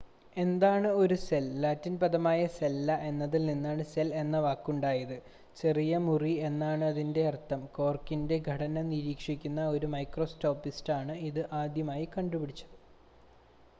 "എന്താണ് ഒരു cell? Latin പദമായ "സെല്ല" എന്നതിൽ നിന്നാണ് സെൽ എന്ന വാക്കുണ്ടായത്. "ചെറിയ മുറി" എന്നാണ് അതിനർത്ഥം. കോർക്കിന്റെ ഘടന നിരീക്ഷിക്കുന്ന ഒരു മൈക്രോസ്കോപ്പിസ്റ്റാണ് ഇത് ആദ്യമായി കണ്ടുപിടിച്ചത്.